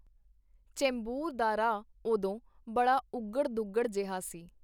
ਚੈਂਬੂਰ ਦਾ ਰਾਹ ਓਦੋਂ ਬੜਾ ਉੱਘੜ-ਦੁੱਘੜਾ ਜਿਹਾ ਸੀ.